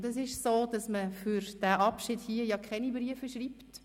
Es ist an und für sich so, dass man für diesen Abschied keine Briefe schreibt.